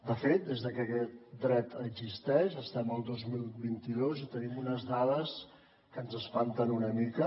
de fet des de que aquest dret existeix estem al dos mil vint dos i tenim unes dades que ens espanten una mica